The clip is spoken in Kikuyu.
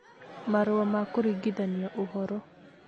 Marũa ma Kũringithania Ũhoro